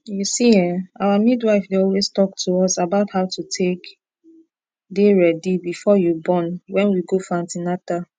u see[um]our midwife dey always talk to us about how to take dey ready before you born wen we go for an ten atal